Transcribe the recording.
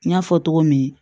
N y'a fɔ cogo min